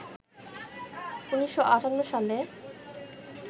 ১৯৫৮ সালে